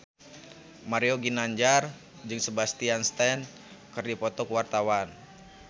Mario Ginanjar jeung Sebastian Stan keur dipoto ku wartawan